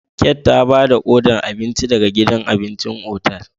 Kate ta ba da odar abinci daga gidan abincin otal.